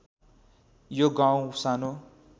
यो गाउँ सानो